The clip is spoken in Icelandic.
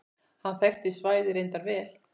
Hann þekkti svæðið reyndar vel.